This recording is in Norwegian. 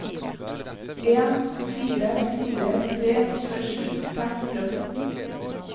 en fire fire tre tjuesju fem hundre og fjorten